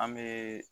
An bɛ